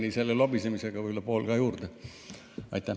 Ja Jürgeni lobisemise tõttu võib-olla pool juurde.